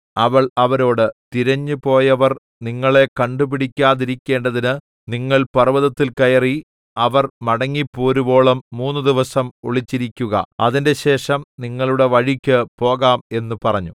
അവൾ അവരോട് തിരഞ്ഞുപോയവർ നിങ്ങളെ കണ്ടുപിടിക്കാതിരിക്കേണ്ടതിന് നിങ്ങൾ പർവ്വതത്തിൽ കയറി അവർ മടങ്ങിപ്പോരുവോളം മൂന്നുദിവസം ഒളിച്ചിരിക്കുക അതിന്‍റെശേഷം നിങ്ങളുടെ വഴിക്കു പോകാം എന്ന് പറഞ്ഞു